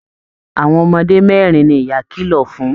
Àwọn ọmọdé mẹrin ní ìyá kìlọ̀ fún.